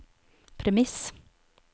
premiss